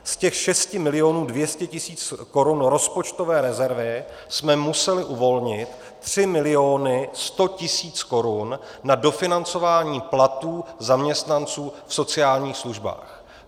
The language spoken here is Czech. Z těch 6 milionů 200 tisíc korun rozpočtové rezervy jsme museli uvolnit 3 miliony 100 tisíc korun na dofinancování platů zaměstnanců v sociálních službách.